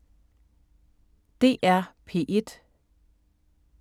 DR P1